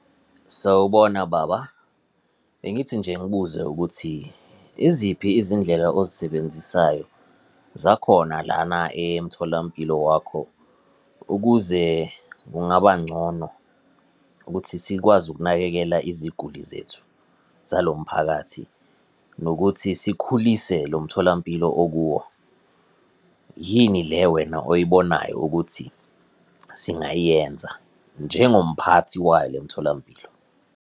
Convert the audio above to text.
Sawubona, baba. Bengithi nje ngibuze ukuthi, iziphi izindlela ozisebenzisayo zakhona lana emtholampilo wakho, ukuze kungaba ngcono ukuthi sikwazi ukunakekela iziguli zethu, zalo mphakathi nokuthi sikhulise lo mtholampilo okuwo? Yini le wena oyibonayo ukuthi singayenza, njengomphathi wayo le mtholampilo?